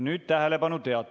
Nüüd tähelepanu!